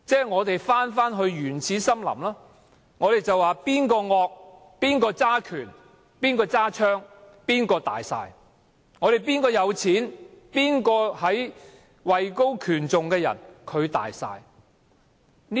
我們猶如回到原始森林，兇惡的、掌權的、持槍的，可以說了算，有錢的、位高權重的，也可以說了算。